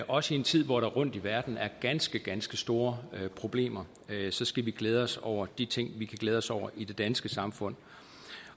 også i en tid hvor der rundt i verden er ganske ganske store problemer skal vi glæde os over de ting vi kan glæde os over i det danske samfund